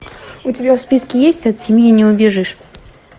у тебя в списке есть от семьи не убежишь